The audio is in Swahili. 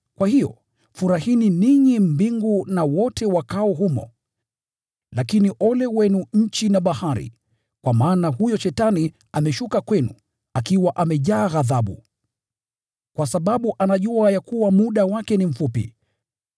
Kwa hiyo, furahini ninyi mbingu na wote wakaao humo! Lakini ole wenu nchi na bahari, kwa maana huyo ibilisi ameshuka kwenu, akiwa amejaa ghadhabu, kwa sababu anajua ya kuwa muda wake ni mfupi!”